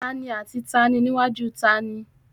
Taàní àti taàní níwájú taàní?